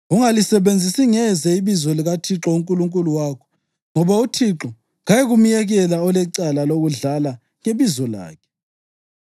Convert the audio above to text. Ungalisebenzisi ngeze ibizo likaThixo uNkulunkulu wakho, ngoba uThixo kayikumyekela olecala lokudlala ngebizo lakhe.